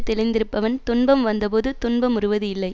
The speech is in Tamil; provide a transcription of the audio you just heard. தெளிந்திருப்பவன் துன்பம் வந்த போது துன்ப முறுவது இல்லை